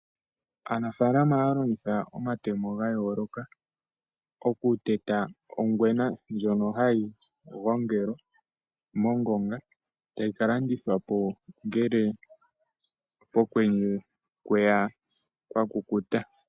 Aanafalama ohaya longitha omatemo ga yooloka oku teta ongwena ndjono hayi gongelwa mo ngonga etayi ka landithwa po ngele pokwenye kweya kwa kukuta.